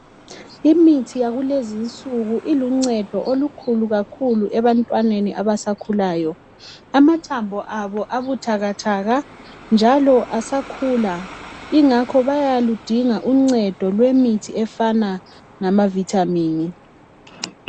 imithi yakulezinsuku iluncedo olukhulu kakhulu ebantwaneni abasakhulayo amathambo abo abuthakathaka njalo asakhula ingakho bayaludinga uncedo lwemithi efana lama vitamin